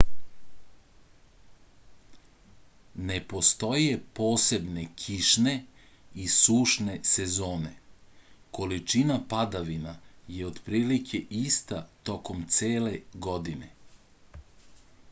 ne postoje posebne kišne i sušne sezone količina padavina je otprilike ista tokom cele godine